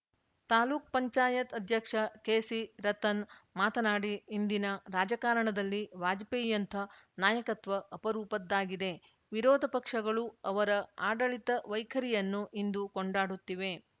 ತಾಲ್ಲುಕುಪಂಚಾಯತ್ ಅಧ್ಯಕ್ಷ ಕೆಸಿ ರತನ್‌ ಮಾತನಾಡಿ ಇಂದಿನ ರಾಜಕಾರಣದಲ್ಲಿ ವಾಜಪೇಯಿಯಂಥ ನಾಯಕತ್ವ ಅಪರೂಪದ್ದಾಗಿದೆ ವಿರೋಧ ಪಕ್ಷಗಳೂ ಅವರ ಆಡಳಿತ ವೈಖರಿಯನ್ನು ಇಂದು ಕೊಂಡಾಡುತ್ತಿವೆ